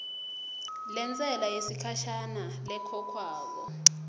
lentsela yesikhashana lekhokhwako